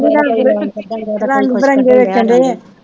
ਨੀ ਰੰਗ ਵੇਖ ਰੰਗ ਬਿਰੰਗੇ ਵੇਖਣ ਡੇ ਹੈ